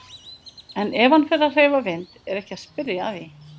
En ef hann fer að hreyfa vind er ekki að spyrja að því.